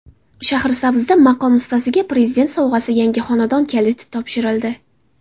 Shahrisabzda maqom ustasiga Prezident sovg‘asi yangi xonadon kaliti topshirildi.